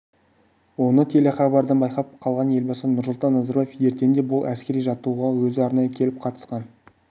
оны телехабардан байқап қалған елбасы нұрсұлтан назарбаев ертеңінде бұл әскери жаттығуға өзі арнайы келіп қатысқан